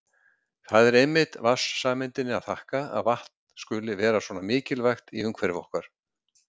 Það er einmitt vatnssameindinni að þakka að vatn skuli vera svona mikilvægt í umhverfi okkar.